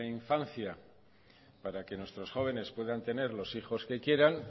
infancia para que nuestros jóvenes puedan tener los hijos que quieran